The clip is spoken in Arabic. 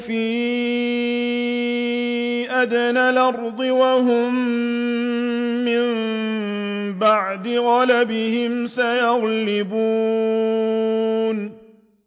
فِي أَدْنَى الْأَرْضِ وَهُم مِّن بَعْدِ غَلَبِهِمْ سَيَغْلِبُونَ